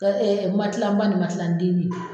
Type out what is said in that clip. Ka matilan ba ni matilan denin.